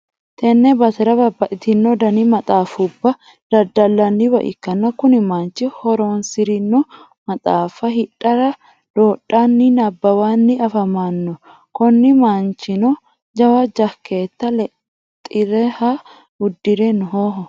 tenne basera bababxxitino dani maxaafubba daddallanniwa ikkanna, kuni manchino hasi'rino maxaafa hidhara doodhanninna nabbawanni afamannoho, kuni manchino jawa jakkeete leexeriha uddire nooho.